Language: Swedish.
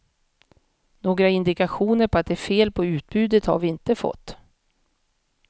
Några indikationer på att det är fel på utbudet har vi inte fått.